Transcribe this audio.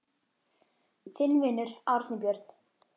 Þinn vinur, Árni Björn.